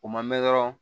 O ma mɛn dɔrɔn